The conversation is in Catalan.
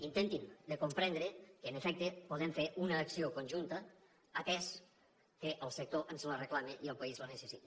intentin de comprendre que en efecte podem fer una acció conjunta atès que el sector ens la reclama i el país la necessita